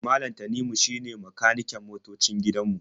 Malam Tanimu shine makaniken motoocin gidan mu.